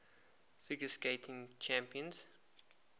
figure skating championships